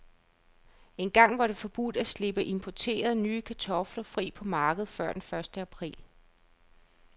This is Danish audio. Engang var det forbudt at slippe importerede, nye kartofler fri på markedet før den første april.